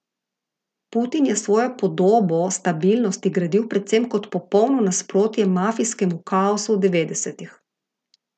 Putin je svojo podobo stabilnosti gradil predvsem kot popolno nasprotje mafijskemu kaosu devetdesetih.